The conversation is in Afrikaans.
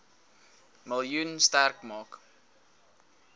miljoen sterk maak